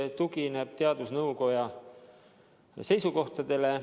Ta tugineb teadusnõukoja seisukohtadele.